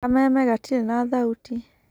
Kameme gatirĩ na thauti.